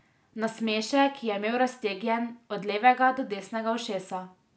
Nasmešek je imel raztegnjen od levega do desnega ušesa.